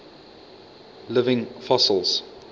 living fossils